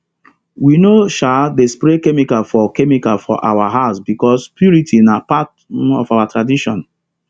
we no um dey spray chemical for chemical for our herbs because purity na part um of our tradition